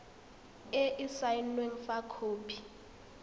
e e saenweng fa khopi